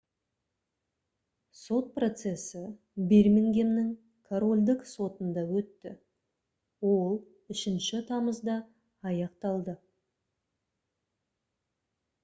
сот процесі бирмингемнің корольдік сотында өтті ол 3 тамызда аяқталды